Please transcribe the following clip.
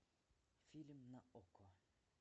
фильм на окко